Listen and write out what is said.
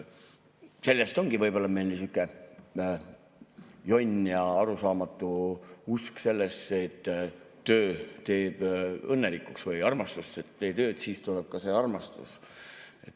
Sellest ongi võib‑olla meil sihuke jonn ja arusaamatu usk sellesse, et töö teeb õnnelikuks või et tee tööd, siis tuleb ka armastus.